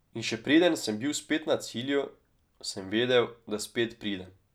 In še preden sem bil spet na cilju, sem vedel, da spet pridem.